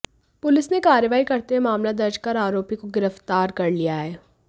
police ने कार्रवाई करते हुए मामला दर्ज कर आरोपी को गिरफ्तार कर लिया है